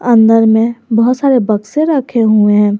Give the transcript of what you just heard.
अंदर में बहुत सारे बक्से रखे हुए हैं।